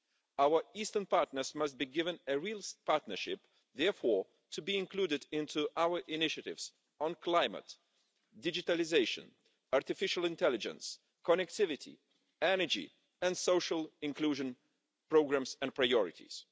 Our Eastern partners must be given a real partnership, therefore, to be included into our initiatives on climate, digitalisation, artificial intelligence, connectivity, energy and social inclusion programmes and priorities.